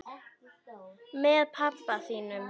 Með pabba þínum?